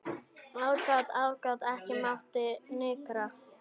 Aðgát, aðgát, ekki mátti nykra.